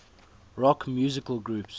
rock musical groups